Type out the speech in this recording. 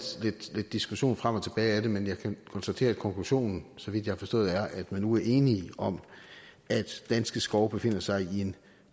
diskussion frem og tilbage om det men jeg kan konstatere at konklusionen så vidt jeg har forstået er at man nu er enige om at danske skove befinder sig i en